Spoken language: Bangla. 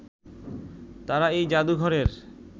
তারা এই জাদুঘরের